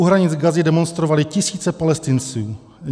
U hranic Gazy demonstrovaly tisíce Palestinců.